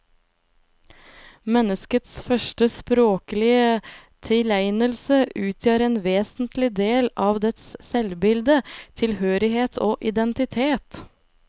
Menneskets første språklige tilegnelse utgjør en vesentlig del av dets selvbilde, tilhørighet og identitet.